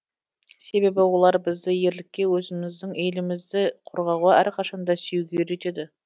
себебі олар бізді ерлікке өзіміздің елімізді қорғауға әрқашан да сүюге үйретеді